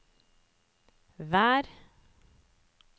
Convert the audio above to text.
vær